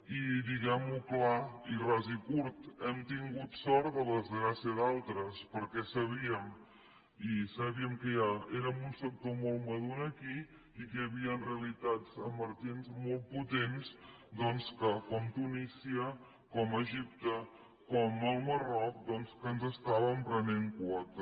i diguem ho clar i ras i curt hem tingut sort de la desgràcia d’altres perquè sabíem que ja érem un sector molt madur aquí i que hi havien realitats emergents molt potents doncs com tunísia com egipte com el marroc que ens estaven prenent quota